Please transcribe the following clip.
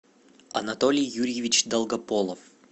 анатолий юрьевич долгополов